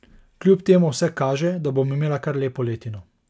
Kljub temu vse kaže, da bom imela kar lepo letino.